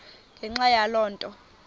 ngenxa yaloo nto